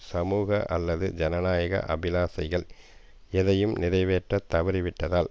சமூக அல்லது ஜனநாயக அபிலாசைகள் எதையும் நிறைவேற்ற தவறி விட்டதால்